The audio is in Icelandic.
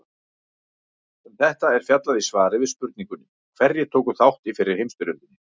Um þetta er fjallað í svari við spurningunni Hverjir tóku þátt í fyrri heimsstyrjöldinni?